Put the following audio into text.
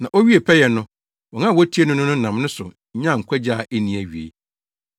Na owiee pɛyɛ no, wɔn a wotie no no nam ne so nya nkwagye a enni awiei,